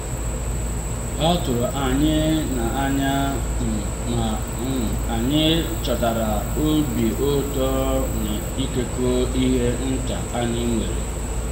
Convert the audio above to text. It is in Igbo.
ha tụrụ anyị n’anya um ma um anyị chọtara obi ụtọ n’ịkekọ ihe nta anyị nwere